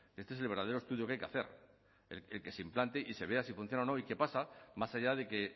este es el verdadero estudio que hay que hacer el que se implante y se vea si funciona o no y que pasa más allá de que